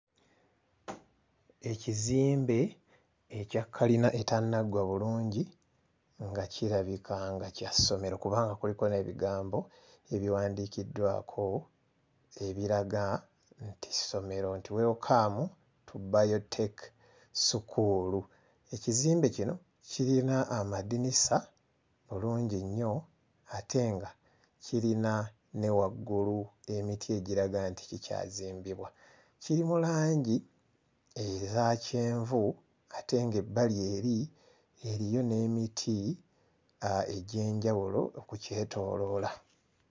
Ekizimbe ekya kkalina etennaggwa bulungi nga kirabika nga kya ssomero kubanga kuliko n'ebigambo ebiwandiikiddwako ebiraga nti ssomero nti welokaamu tu bbayoteeki ssukuulu. Ekizimbe kino kirina amadinisa bulungi nnyo ate nga kirina ne waggulu emiti egiraga nti kikyazimbibwa. Kiri mu langi eza kyenvu ate ng'ebbali eri eriyo n'emiti aa egy'enjawulo okukyetooloola.